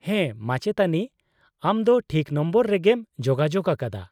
-ᱦᱮᱸ, ᱢᱟᱪᱮᱛᱟᱹᱱᱤ ! ᱟᱢ ᱫᱚ ᱴᱷᱤᱠ ᱱᱚᱢᱵᱚᱨ ᱨᱮᱜᱮᱢ ᱡᱳᱜᱟᱡᱳᱜ ᱟᱠᱟᱫᱟ ᱾